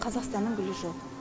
қазақстанның гүлі жоқ